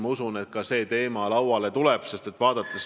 Ma usun, et ka seal tuleb see teema lauale.